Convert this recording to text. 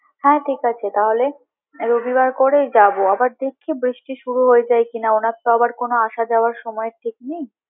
হ্যাঁ ঠিক আছে তাহলে রবিবার করেই যাবো আবার দেখি বৃষ্টি শুরু হয়ে যায় কিনা ওনার তো আবার কোনো আসা যাওয়ার সময়ের ঠিক নেই।